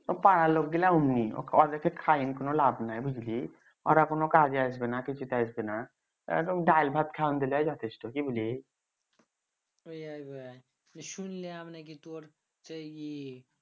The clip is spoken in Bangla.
পাড়ার লোক গুলা অমনি ওদেরকে খাইন কোনো লাভ নাই বুঝলি ওড়া কুনো কাজে আসবেনা কিছুতে আসবেনা দাইল ভাত খাওন দিলে যথেষ্ট কি বলি শুইনলাম না কি তোর